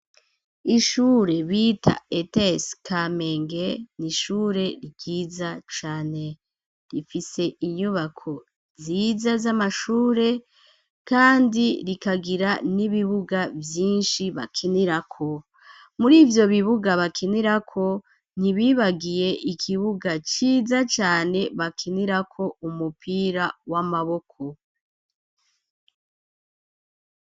Ishure bita ete skamenge niishure ryiza cane rifise inyubako nziza z'amashure, kandi rikagira n'ibibuga vyinshi bakinirako muri ivyo bibuga bakinirako ntibibagiye ikibuga ga ciza cane bakinirako umupira w'amaboko.